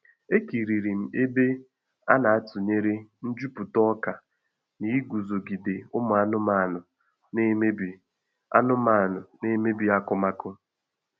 Ekiriri m ebe a na-atunyere njuputa ọka na iguzogide ụmụ anụmanụ na emebi anụmanụ na emebi akụmakụ